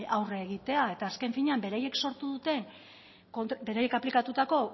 aurre egitea eta azken finean beraiek sortu dute beraiek aplikatutako